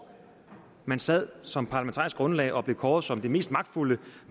år man sad som parlamentarisk grundlag og blev kåret som det mest magtfulde